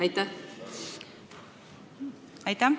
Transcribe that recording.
Aitäh!